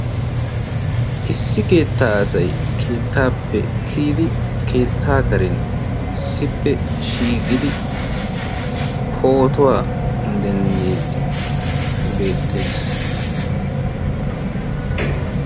issi keettaa asai keettaappe kiyidi keettaa karin issippe shiiqidi pootuwaa dendiiddi beettees